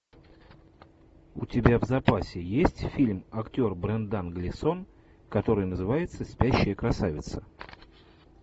у тебя в запасе есть фильм актер брендан глисон который называется спящая красавица